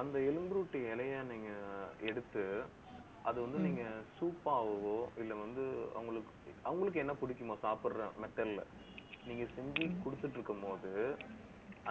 அந்த எலும்பு உருட்டி இலையை, நீங்க எடுத்து அதை வந்து, நீங்க சூப்பாகவோ, இல்லை வந்து, அவங்களுக்கு~அவங்களுக்கு என்ன பிடிக்குமோ சாப்பிடுற method ல நீங்க செஞ்சு குடுத்துட்டு இருக்கும்போது